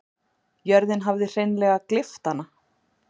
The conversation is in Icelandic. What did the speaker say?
Jörðin hafði hreinleg gleypt hana.